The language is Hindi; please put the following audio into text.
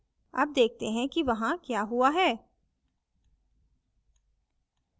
अब देखते हैं कि वहां क्या हुआ है